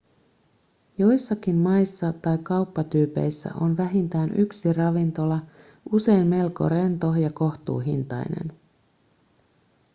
joissakin maissa tai kauppatyypeissä on vähintään yksi ravintola usein melko rento ja kohtuuhintainen